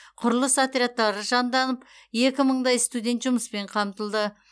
құрылыс отрядтары жанданып екі мыңдай студент жұмыспен қамтылды